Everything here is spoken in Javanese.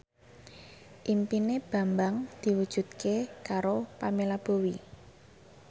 impine Bambang diwujudke karo Pamela Bowie